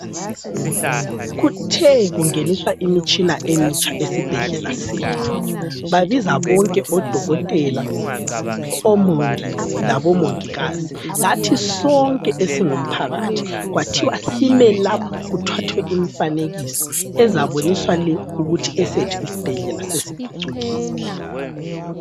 Kuthe kungeniswa imitshina emitsha esibhedlela sethu babiza bonke odokotela, omongi labomongikazi lathi sonke esingumphakathi kwathiwa simelapha kuthathwe imfanekiso ezaboniswa le ukuthi esethu isibhedlela sesiphucukile.